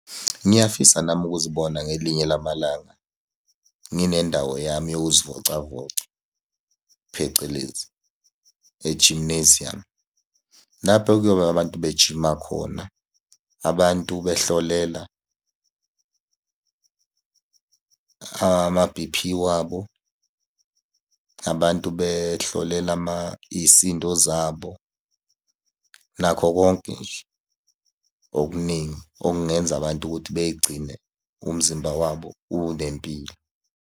Ngiyafisa nami ukuzibona ngelinye lamalanga ndinendawo yami yokuzivocavoca, phecelezi e-gymnasium. Lapho ekuyobe abantu bejima khona, abantu behlolela ama-B_P wabo. Abantu behlolela iy'sindo zabo nakho konke nje okuningi okungenza abantu ukuthi bey'gcine umzimba wabo unempilo.